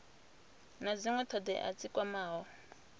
na dzinwe thodea dzi kwamaho